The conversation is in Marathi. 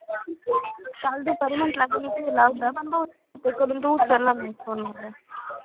काल दुपारी म्हंटल अगं केला होता पण बहुतेक करून तू उचलला नाही phone माझा,